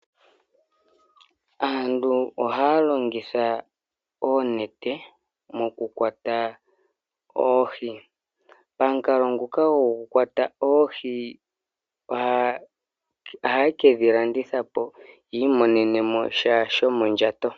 Aantu ohaa longitha oonete okukwata oohi. Pamukalo nguka go kukwata oohi ohaye kedhi landitha yii monenemo sha sho mondjato.